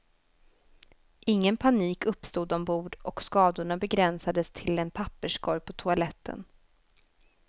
Ingen panik uppstod ombord och skadorna begränsades till en papperskorg på toaletten.